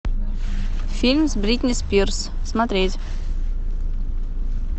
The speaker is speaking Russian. фильм с бритни спирс смотреть